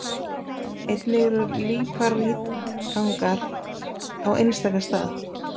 Einnig eru líparítgangar á einstaka stað.